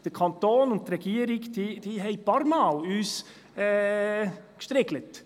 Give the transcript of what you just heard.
Der Kanton und die Regierung haben uns ein paar Mal gestriegelt.